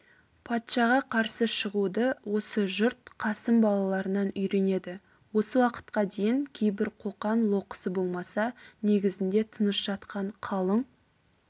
патшаға қарсы шығуды осы жұрт қасым балаларынан үйренеді осы уақытқа дейін кейбір қоқан-лоқысы болмаса негізінде тыныш жатқан қалың